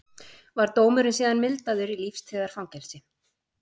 Var dómurinn síðan mildaður í lífstíðarfangelsi